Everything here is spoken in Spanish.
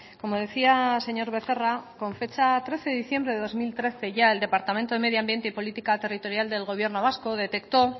como decía señor becerra con fecha trece de diciembre de dos mil trece ya el departamento de medioambiente y política territorial del gobierno vasco detectó